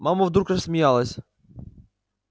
мама вдруг рассмеялась